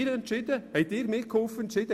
Das haben Sie entschieden!